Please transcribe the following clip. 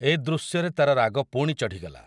ଏ ଦୃଶ୍ୟରେ ତା'ର ରାଗ ପୁଣି ଚଢି଼ଗଲା ।